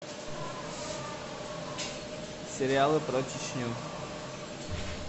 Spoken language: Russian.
сериалы про чечню